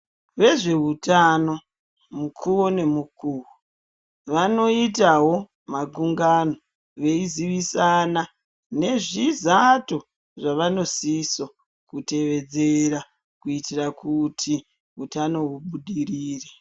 Vezvehutano mukuwo nemukuwo vanoitawo makungano veizivisana nezvizato zvavanosiso kutevedzera kuitira kuti hutano hubudirire.